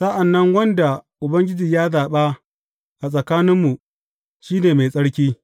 Sa’an nan wanda Ubangiji ya zaɓa a tsakaninmu sh ne mai tsarki.